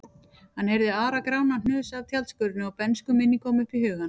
Hann heyrði Ara-Grána hnusa af tjaldskörinni og bernskuminning kom upp í hugann.